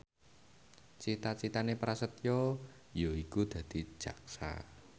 cita citane Prasetyo yaiku dadi jaksa